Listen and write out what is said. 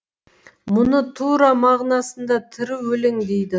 мұны тура мағынасында тірі өлең дейді